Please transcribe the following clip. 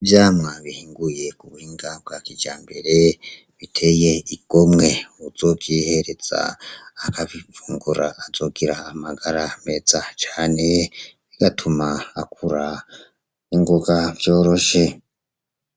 Ivyamwa bihinguye ku buhinga bwa kijambere, biteye igomwe. Uwuzovyihereza akabifungura azogira amagara meza cane, bigatuma akura n'ingoga vyoroshe.